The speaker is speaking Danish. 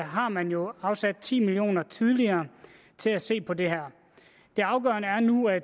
har man jo afsat ti million kroner tidligere til at se på det her det afgørende er nu at